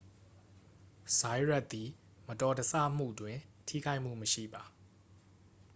ဇိုင်ယတ်သည် မတော်တဆမှုတွင် ထိခိုက်မှုမရှိပါ